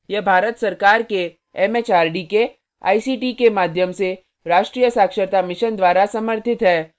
यह भारत सरकार के एमएचआरडी के आईसीटी के माध्यम से राष्ट्रीय साक्षरता mission द्वारा समर्थित है